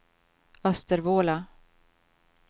Östervåla